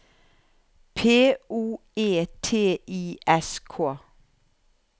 P O E T I S K